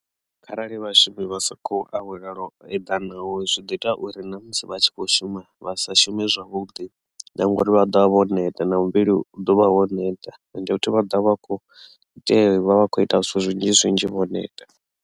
Kharali vhashumi vha sa khou awela zwo eḓanaho zwi ḓo ita uri na musi vha tshi kho shuma vha sa shume zwavhuḓi na ngori vha ḓovha vho neta na muvhili u ḓo vha wo neta ende vhathu vha ḓovha vha kho ite vha vha kho ita zwithu zwinzhi zwinzhi vho neta.